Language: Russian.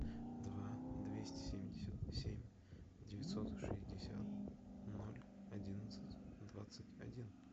два двести семьдесят семь девятьсот шестьдесят ноль одиннадцать двадцать один